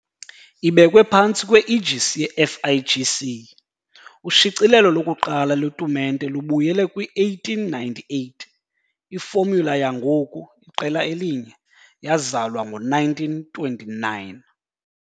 Ibekwe phantsi kwe-aegis ye-FIGC, ushicilelo lokuqala lwetumente lubuyele kwi-1898 - ifomula yangoku iqela elinye yazalwa ngo-1929.